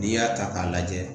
N'i y'a ta k'a lajɛ